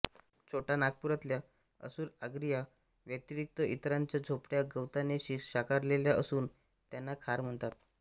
छोटा नागपूरातल्या असुरआगरिया व्यतिरिक्त इतरांच्या झोपड्या गवताने शाकारलेल्या असून त्यांना खार म्हणतात